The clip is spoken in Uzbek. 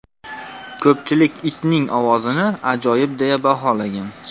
Ko‘pchilik itning ovozini ajoyib deya baholagan.